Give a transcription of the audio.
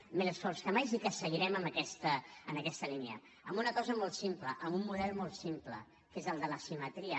amb més esforços que mai i que seguirem en aquesta línia amb una cosa molt simple amb un model molt simple que és el de la simetria